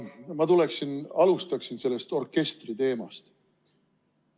Ma alustaksin sellest orkestri teemast.